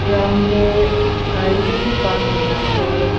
ground de gari bishi park kurina ase.